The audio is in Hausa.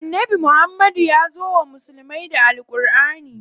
Annabi Muhammad yazo wa musulmai da Al Ƙurʼani.